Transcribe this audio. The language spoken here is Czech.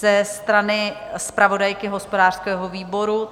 Ze strany zpravodajky hospodářského výboru?